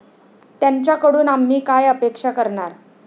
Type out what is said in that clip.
त्यांच्याकडून आम्ही काय अपेक्षा करणार?